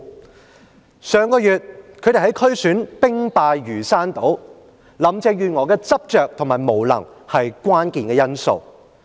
保皇黨在上月的區選兵敗如山倒，林鄭月娥的執着和無能，是關鍵因素。